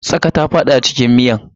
Tsaƙa ta fada cikin miyan.